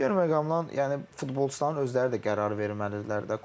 Digər məqamdan yəni futbolçuların özləri də qərarı verməlidirlər də.